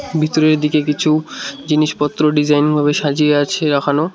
ভিতরের দিকে কিছু জিনিসপত্র ডিজাইন ভাবে সাজিয়ে আছে রাখানো।